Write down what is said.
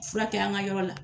Fura kɛ an ka yɔrɔ la